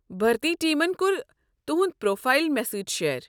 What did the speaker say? بھرتی ٹیمن كوٚر تُہُنٛد پروفایل مےٚ سٕتۍ شییر۔